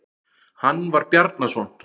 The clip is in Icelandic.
Hann var Bjarnason.